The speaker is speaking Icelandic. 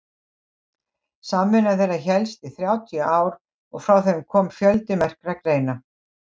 samvinna þeirra hélst í þrjátíu ár og frá þeim kom fjöldi merkra greina